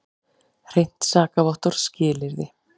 Hreint sakavottorð skilyrði.